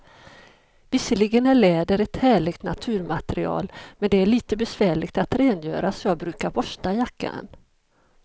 Visserligen är läder ett härligt naturmaterial, men det är lite besvärligt att rengöra, så jag brukar borsta jackan.